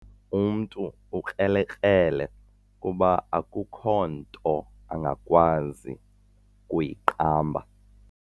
Umntu ukrelekrele kuba akukho nto angakwazi kuyiqamba.